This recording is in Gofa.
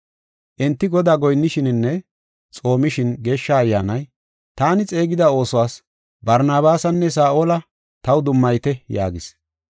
Enti Godaa goyinnishininne xoomishin Geeshsha Ayyaanay, “Taani xeegida oosuwas Barnabaasanne Saa7ola taw dummayite” yaagis.